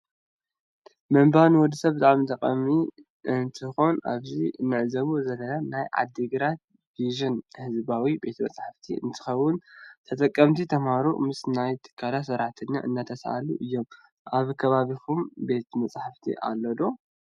መንባብ ንወድሰብ ብጣዕሚ ጠቃሚ እንትኮን አብዚ እንዕዞቦ ዘለና ናይ ዓድገራተ ቪዝን ህዝባዊ ቤተ መፃሕፍቲ እንትኮውን ተጠቀሚቲ ተምሃሮ ምስ ናይቲ ትካል ስራሕተኛ እናተሳእሉ እዩሀ። አብ ከባቢኩም ቤተ መፃፍቲ አሎ ዶ